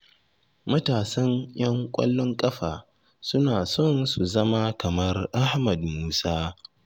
Matasan 'yan ƙwallon ƙafa suna son su zama kamar Ahmad Musa.